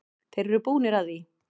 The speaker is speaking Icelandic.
Þeir eru búnir að því.